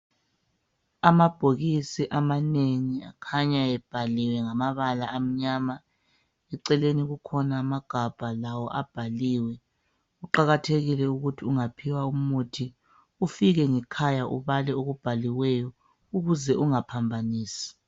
Amabhokisi amanengi akhanya ebhaliwe ngamabala amnyama, eceleni kukhona amagabha lawo abhaliwe, Kuqakathekile ukuthi ungaphiwa umuthi ufike ngekhaya ubale okubhaliweyo ukuze ungaphambanisi.